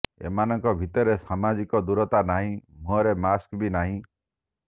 ଏମାନଙ୍କ ଭିତରେ ସାମାଜିକ ଦୂରତା ନାହିଁ ମୁହଁରେ ମାସ୍କ ବି ନାହିଁ